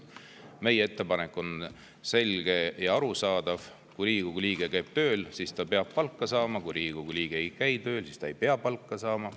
Meie ettepanek on selge ja arusaadav: kui Riigikogu liige käib tööl, siis ta peab palka saama, aga kui Riigikogu liige ei käi tööl, siis ta ei pea palka saama.